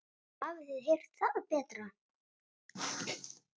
Hafið þið heyrt það betra.